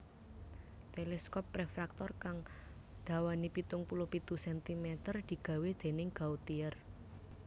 Teleskop refraktor kang dawané pitung puluh pitu centimeter digawé dèning Gautier